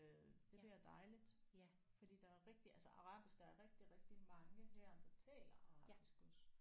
Øh det bliver dejligt fordi der er rigtigt altså arabisk der er rigtig rigtig mange her der taler arabisk også